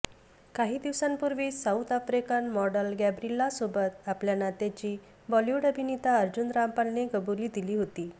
काही दिवसांपूर्वीच South African model गॅबरिलासोबत आपल्या नात्याची बॉलिवूड अभिनेता अर्जुन रामपालने कबुली दिली होती